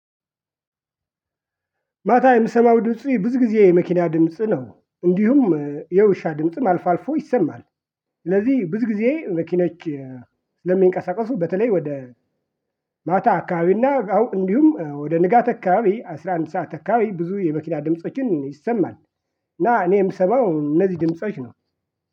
ማታ የምሰማው ድምጽ ብዙ ጊዜ የመኪና ድምጽ ነ፤ እንዲሁም የውሻ ድምጽም አልፋ አልፎ ይሰማል፤ ስለዚህ ብዙ ጊዜ መኪኖች ለሚንቀሳቀሱ በተለይ ወደ ማታ አካባቢና አዎ እንዲሁም ወደ ንጋት አካባቢ አስራ አንድ ሰዓት አካባቢ ብዙ የመኪና ድምፆችን ይሰማል እና እኔ የምሰማው እነዚህ ድምጾች ነው።